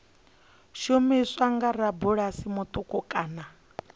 shumiswa nga rabulasi muṱuku kana